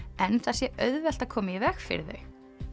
en það sé auðvelt að koma í veg fyrir þau